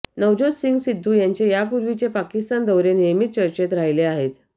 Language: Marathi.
नवज्योत सिंग सिद्धू यांचे यापूर्वीचे पाकिस्तान दौरे नेहमीच चर्चेत राहिले आहेत